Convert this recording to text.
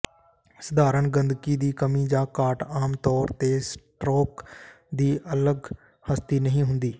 ਸਧਾਰਣ ਗੰਦਗੀ ਦੀ ਕਮੀ ਜਾਂ ਘਾਟ ਆਮ ਤੌਰ ਤੇ ਸਟਰੋਕ ਦੀ ਅਲੱਗ ਹਸਤੀ ਨਹੀਂ ਹੁੰਦੀ